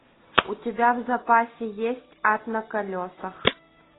у тебя в запасе есть ад на колесах